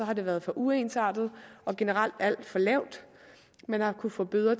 har det været for uensartet og generelt alt for lavt man har kunnet få bøder